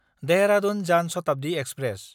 Dehradun Jan Shatabdi express